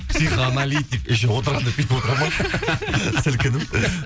психоаналитик еще отырғанда бүйтіп отырады ма сілкініп